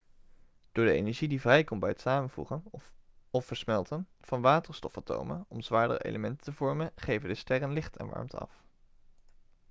door de energie die vrijkomt bij het samenvoegen of versmelten van waterstofatomen om zwaardere elementen te vormen geven de sterren licht en warmte af